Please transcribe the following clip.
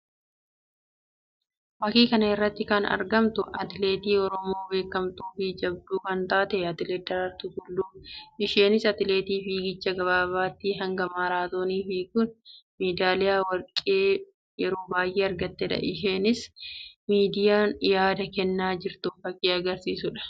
Fakkii kana irratti kan argamtu atileetii Oromoo beekamtuu fi jabduu kan taatee atileet Daraartuu Tulluu dha. Isheenis atileetii fiigichaa gabaabaatii hanga maaraatoonii fiiguun medaliyaa warqii yeroo baayyee argattee dha. Isheenis yeroo miidiyaan yaada kennaa jirtu fakkii agarsiisuu dha.